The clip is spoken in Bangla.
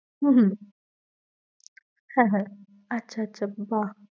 হম হম হ্যাঁ, হ্যাঁ, আচ্ছা আচ্ছা বাহ্